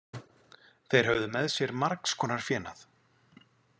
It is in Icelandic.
Þeir höfðu með sér margs konar fénað.